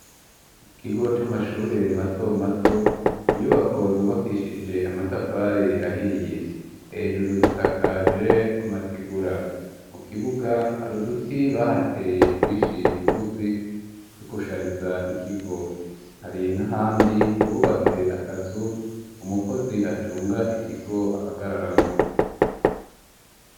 Mu kigo c'amashure matomato, inyubako zubakishije amatafari ahiye, hejuru zisakaje amategura ,mu kibuga hari uduti bahateye twinshi tugufi two gushariza ikigo, hari n'ahandi bubatse akazu umukozi acunga ikigo ahagararamwo.